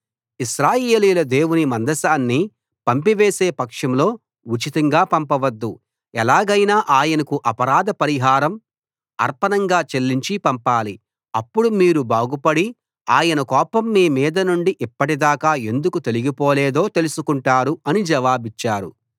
ఇశ్రాయేలీయుల దేవుని మందసాన్ని పంపివేసే పక్షంలో ఉచితంగా పంపవద్దు ఎలాగైనా ఆయనకు అపరాధ పరిహారం అర్పణంగా చెల్లించి పంపాలి అప్పుడు మీరు బాగుపడి ఆయన కోపం మీ మీద నుండి ఇప్పటిదాకా ఎందుకు తొలగి పోలేదో తెలుసుకుంటారు అని జవాబిచ్చారు